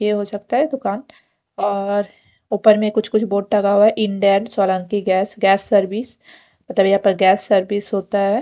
ये हो सकता है दुकान और ऊपर मे कुछ-कुछ बोर्ड टंगा हुआ है Indane Solanki gas gas service पतान यहाँ पर गैस सर्विस होता है।